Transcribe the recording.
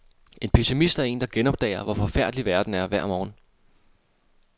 En pessimist er en, der genopdager, hvor forfærdelig verden er hver morgen.